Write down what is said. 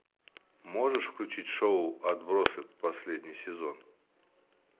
можешь включить шоу отбросы последний сезон